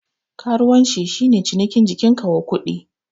Karuwanci shi ne cinikin jikin ka wa kuɗi.